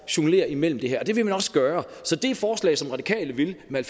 jonglere imellem det her og det vil man også gøre så det forslag som radikale vil med